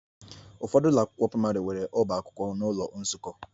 Ụfọdụ ụlọ akwụkwọ praịmarị nwere ọba akwụkwọ na ụlọ nzukọ